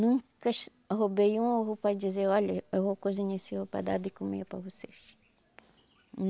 Nunca roubei um ovo para dizer, olha, eu vou cozinhar esse ovo para dar de comer para vocês.